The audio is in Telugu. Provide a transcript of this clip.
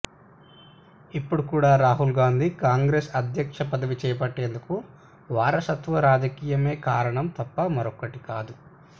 ఇప్పుడు కూడా రాహుల్ గాంధీ కాంగ్రెస్ అధ్యక్ష పదవి చేపట్టేందుకు వారసత్వ రాజకీయమే కారణం తప్ప మరొకటి కాదు